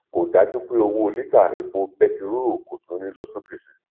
kò dájú pé owó lítà epo bẹtiró kò tún ní lọ sókè sí